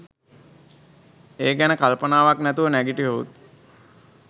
ඒ ගැන කල්පනාවක් නැතුව නැගිට්ටහොත්